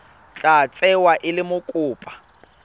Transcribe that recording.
tla tsewa e le mokopa